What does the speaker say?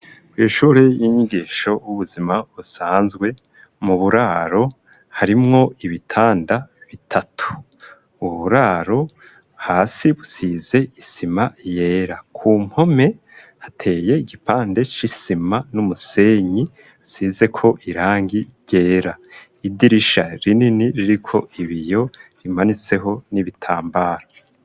Ishuri y'inyigisho y'ubuzima busanzwe mu buraro, harimwo ibitanda bitatu. Uburaro, hasi busize isima yera. Ku mpome hateye igipande c'isima n'umusenyi, isizeko irangi ryera. Idirisha rinini ririko ibiyo bimanitseho n'ibitambara.